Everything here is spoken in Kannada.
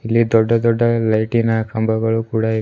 ಇಲ್ಲಿ ದೊಡ್ಡ ದೊಡ್ಡ ಲೈಟಿನ ಕಂಬಗಳು ಕೂಡ ಇವೆ.